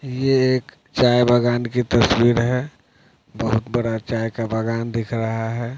ये एक चाय बागान की तस्वीर है बहुत बड़ा चाय का बागान दिख रहा है।